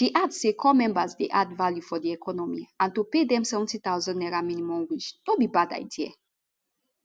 she add say corps members dey add value for di economy and to pay dem 70000 naira minimum wage no be bad idea